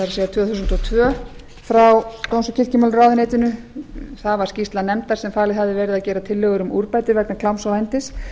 tvö þúsund og tvö frá dóms og kirkjumálaráðuneytinu það var skýrsla nefndar sem falið hafði verið að gera tillögur um úrbætur vegna kláms og vændis